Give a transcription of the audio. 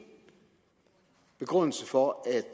begrundelse for at